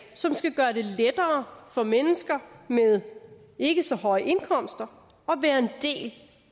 som skal gøre det lettere for mennesker med ikke så høje indkomster